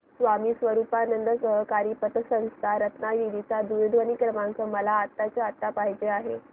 स्वामी स्वरूपानंद सहकारी पतसंस्था रत्नागिरी चा दूरध्वनी क्रमांक मला आत्ताच्या आता पाहिजे आहे